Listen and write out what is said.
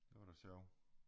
Det var da sjov